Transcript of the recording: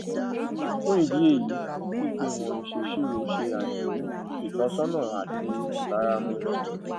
fún ìdí èyí ìpéwọn ìsèsirò ṣe àìní ìtọsọnà àti ìbáramu